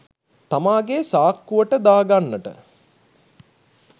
තමාගේ සාක්කුවට දා ගන්නට